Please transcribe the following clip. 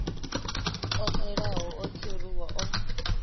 o xelaho o kheruwa o